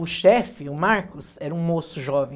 O chefe, o Marcos, era um moço jovem.